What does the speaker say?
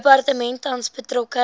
departement tans betrokke